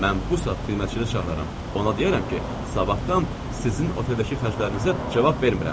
Mən bu saat xidmətçini çağıraram, ona deyərəm ki, sabahdan sizin oteldəki xərclərinizə cavab vermirəm.